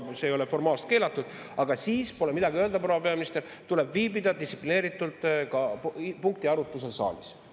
See ei ole formaalselt keelatud, aga siis pole midagi öelda, proua peaminister, tuleb viibida distsiplineeritult punkti arutlusel saalis.